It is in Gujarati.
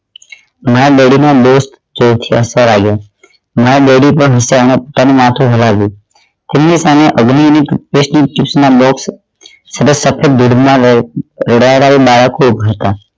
my daddy મા best jock circle આવ્યુ my daddy પણ શાંત થઈ માથું હલાવ્યું કોઈ એ મને અગ્નિ ની toothpaste ના બોકસ